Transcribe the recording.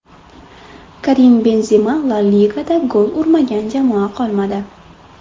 Karim Benzema La Ligada gol urmagan jamoa qolmadi.